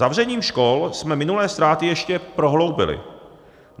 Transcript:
Zavřením škol jsme minulé ztráty ještě prohloubili.